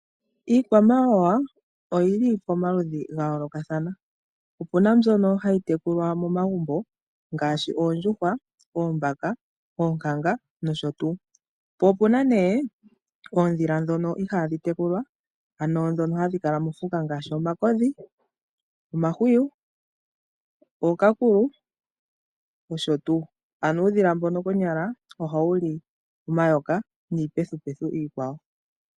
Iikwamawawa oyili pomaludhi ga yoolokathana opuna mbyono hayi tekulwa momagumbo ngaashi oondjuhwa, oombaka, oonkanga nosho tuu, po opuna nee oondhila ndhono ihadhi tekulwa ano ndhono hadhi kala moofuka ngaashi omakodhi, omahwiyu, ookakuwu nosho tuu, ano uudhila mbono ohawu li omayoka niipethupethu iikwawo.